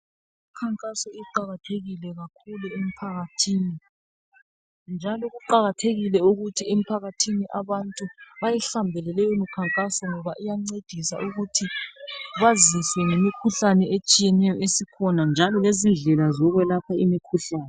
Imikhankaso iqakathekile kakhulu emphakathini njalo kuqakathekile ukuthi emphakathini abantu beyihambele leyo mikhankaso ngoba iyancedisa ukuthi baziswe ngemikhuhlane etshiyeneyo esikhona njalo lezindlela zokwelapha imikhuhlane.